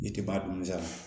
I tɛ bɔ a donmisɛn